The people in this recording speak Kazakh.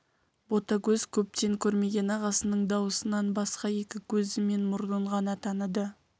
ботагөз көптен көрмеген ағасының дауысынан басқа екі көзі мен мұрнын ғана таныды